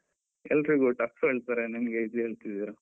ಎಲ್ರಿಗು tough ಹೇಳ್ತಾರೆ, ನಿಮ್ಗೆ esay ಹೇಳ್ತಿದ್ದೀರ.